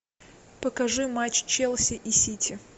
покажи матч челси и сити